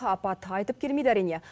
апат айтып келмейді әрине